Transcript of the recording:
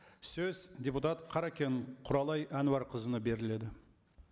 сөз депутат қаракен құралай әнуарқызына беріледі